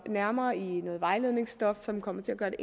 nærmere i noget vejledningsstof som kommer til at